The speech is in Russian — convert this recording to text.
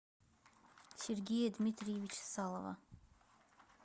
сергея дмитриевича салова